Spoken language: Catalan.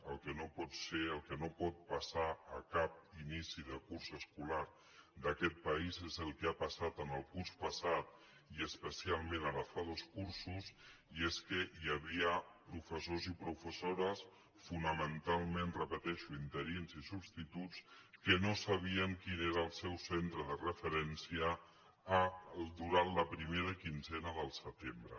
el que no pot ser el que no pot passar a cap inici de curs escolar d’aquest país és el que ha passat en el curs passat i especialment ara fa dos cursos i és que hi havia professors i professores fonamentalment ho repeteixo interins i substituts que no sabien quin era el seu centre de referència durant la primera quinzena del setembre